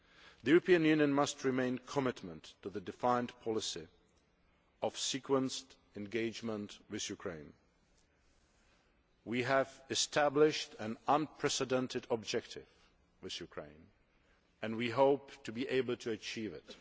The European Union must remain committed to the defined policy of sequenced engagement with Ukraine. We have established an unprecedented objective with Ukraine and we hope to be able to achieve